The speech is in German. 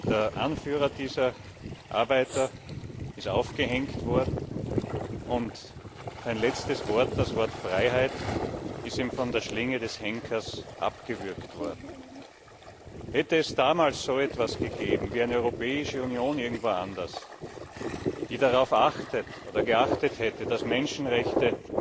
Der Anführer dieser Arbeiter ist aufgehängt worden, und sein letztes Wort, das Wort Freiheit, ist ihm von der Schlinge des Henkers abgewürgt worden. Hätte es damals so etwas gegeben wie eine Europäische Union, irgendwo anders, die darauf geachtet hätte, dass Menschenrechte